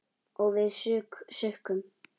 Og við sukkum.